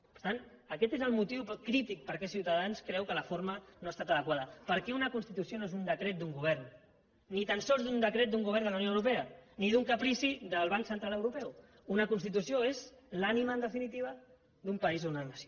per tant aquest és el motiu crític per què ciutadans creu que la forma no ha estat adequada perquè una constitució no és un decret d’un govern ni tan sols un decret d’un govern de la unió europea ni un caprici del banc central europeu una constitució és l’ànima en definitiva d’un país o una nació